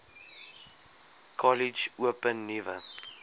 kollege open nuwe